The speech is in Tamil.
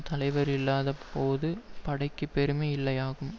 தலைவர் இல்லாத போது படைக்குப் பெருமை இல்லையாகும்